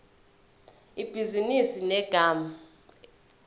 ibhizinisi ngegama elithi